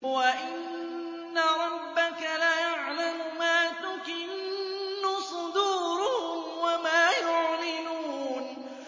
وَإِنَّ رَبَّكَ لَيَعْلَمُ مَا تُكِنُّ صُدُورُهُمْ وَمَا يُعْلِنُونَ